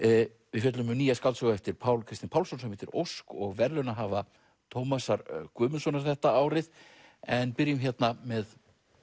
við fjöllum um nýja skáldsögu eftir Pál Kristin Pálsson sem heitir Ósk og verðlaunahafa Tómasar Guðmundssonar þetta árið en byrjum með